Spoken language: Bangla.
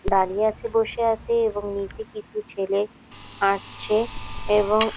দাঁড়িয়ে আছে বসে আছে এবং নিচে কিছু ছেলে হাঁটছে এবং --